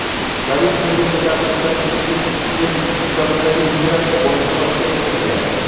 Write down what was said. Politsiya uni deportatsiya qilinishi uchun Istanbuldagi migratsiya boshqarmasiga topshirgan.